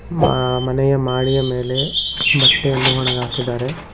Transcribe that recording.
ಮ- ಮನೆಯ ಮಾಡಿಯ ಮೇಲೆ ಬಟ್ಟೆಯನ್ನು ಒಣಗಾಕಿದ್ದಾರೆ.